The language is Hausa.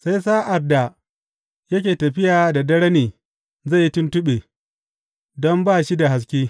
Sai a sa’ad da yake tafiya da dare ne zai yi tuntuɓe, don ba shi da haske.